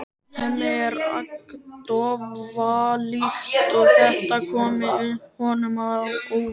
Hemmi er agndofa líkt og þetta komi honum á óvart.